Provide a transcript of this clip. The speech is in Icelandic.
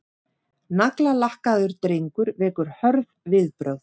Naglalakkaður drengur vekur hörð viðbrögð